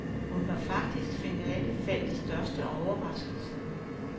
Hun var faktisk finalefeltets største overraskelse.